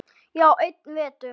Já, einn vetur.